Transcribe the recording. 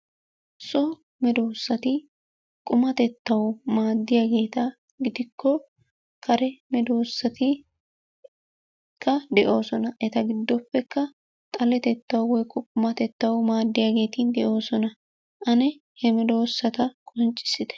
So medoosati qummatettaw maaddiyageeta gidikko kare medoosatikka de'oosona. Eta giddoppekka xaletettaw woykko qumatettaw maaddiyageeti de'oosona. Ane he medoosata qonccissite.